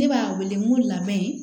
Ne b'a wele n ko labɛn